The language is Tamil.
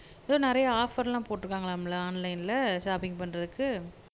எதோ நிறைய ஆஃப்பர் எல்லாம் போட்டுருக்காங்களாம்ல ஆன்லைன்ல ஷாப்பிங்க் பண்றதுக்கு